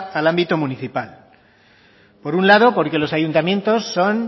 al ámbito municipal por un lado porque los ayuntamientos son